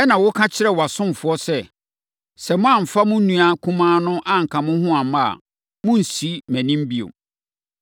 Ɛnna woka kyerɛɛ wʼasomfoɔ sɛ. ‘Sɛ moamfa mo nua kumaa no anka mo ho amma a, monnsi mʼanim bio.’